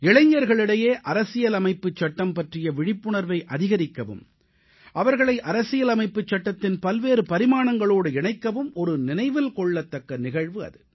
இளைஞர்களிடையே அரசியலமைப்புச் சட்டம் பற்றிய விழிப்புணர்வை அதிகரிக்கவும் அவர்களை அரசியலமைப்புச் சட்டத்தின் பல்வேறு பரிமாணங்களோடு இணைக்கவும் ஒரு நினைவில் கொள்ளத்தக்க நிகழ்வு அது